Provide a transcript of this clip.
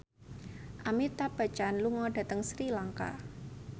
Amitabh Bachchan lunga dhateng Sri Lanka